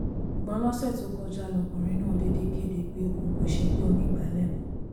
ṣùgbọ́n lọ́sẹ̀ tó kọjá lọ́kùnrin náà déédé kéde pé òun kò ṣègbè onígbàálẹ̀ mọ́